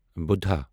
بُڑھا